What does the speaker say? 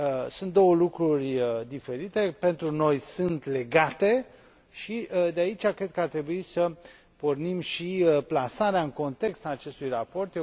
Sunt două lucruri diferite, dar pentru noi sunt legate și de aici cred că ar trebui să pornim și plasarea în context a acestui raport.